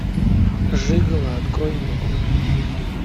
жиголо открой мне